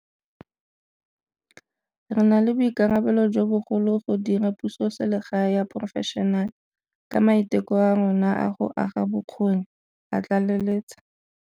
Re na le boikarabelo jo bogolo go dira pusoselegae ya porofešenale, ka maiteko a rona a go aga bokgoni, a tlaleletsa.